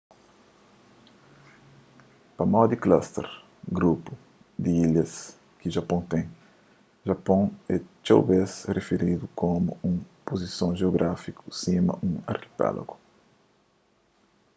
pamodi cluster/grupu di ilhas ki japôn ten japôn é txeu bês rifiridu komu nun puzison jeográfiku sima un arkipélagu